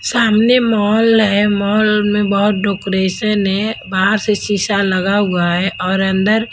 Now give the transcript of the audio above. सामने मॉल है मॉल में बहुत डोकोरेशन है बाहर से शीशा लगा हुआ है और अंदर--